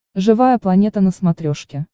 живая планета на смотрешке